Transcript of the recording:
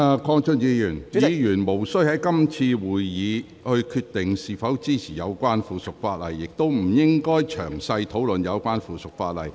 鄺俊宇議員，議員無須在是次會議決定是否支持有關附屬法例，亦不應該詳細討論有關附屬法例。